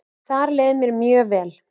Þar leið mér mjög vel.